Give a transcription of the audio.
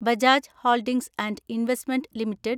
Bajaj holdings and investment limited